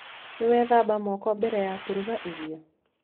Nĩ wethamba moko mbere ya kũruga irio?